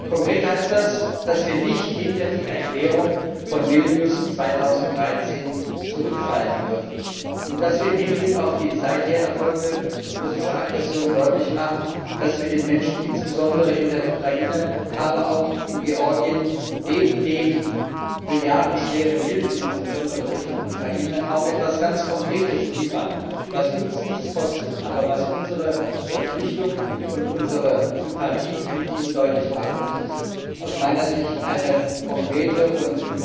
Konkret heißt das, dass wir nicht hinter die Erklärung von Vilnius 2013 zurückfallen dürfen und dass wir im Hinblick auf die seither erfolgte russische Aggression deutlich machen, dass wir den Menschen insbesondere in der Ukraine, aber auch in Georgien neben den milliardenschweren Hilfen, insbesondere Richtung Ukraine, auch etwas ganz Konkretes liefern, was uns nichts kostet, aber was unsere Verpflichtung und unsere Sympathie mit ihnen deutlich macht Und das ist aus meiner Sicht eine konkrete und